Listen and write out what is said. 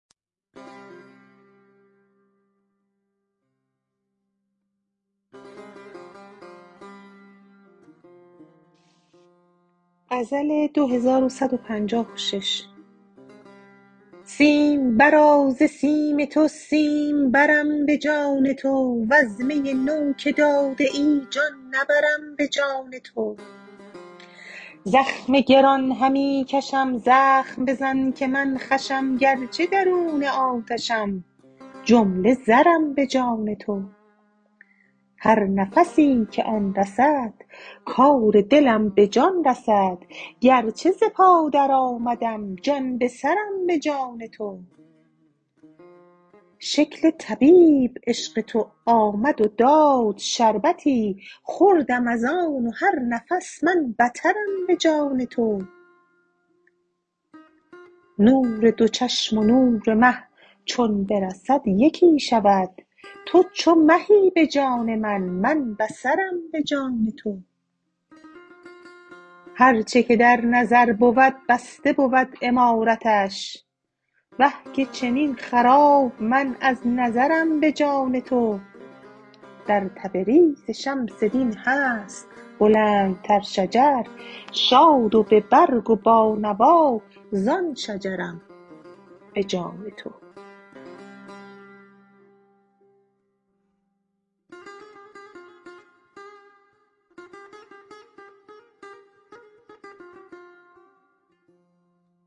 سیمبرا ز سیم تو سیمبرم به جان تو وز می نو که داده ای جان نبرم به جان تو زخم گران همی کشم زخم بزن که من خوشم گرچه درون آتشم جمله زرم به جان تو هر نفسی که آن رسد کار دلم به جان رسد گرچه ز پا درآمدم جان سرم به جان تو شکل طبیب عشق تو آمد و داد شربتی خوردم از آن و هر نفس من بترم به جان تو نور دو چشم و نور مه چون برسد یکی شود تو چو مهی به جان من من بصرم به جان تو هر چه که در نظر بود بسته بود عمارتش آه که چنین خراب من از نظرم به جان تو در تبریز شمس دین هست بلندتر شجر شاد و به برگ و با نوا زان شجرم به جان تو